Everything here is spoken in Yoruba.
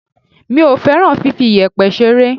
Èmi kò fẹ́ràn fifi iyẹ̀pẹ̀ ṣeré.